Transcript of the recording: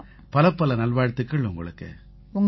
பலப்பல நல்வாழ்த்துக்கள் உங்களுக்கு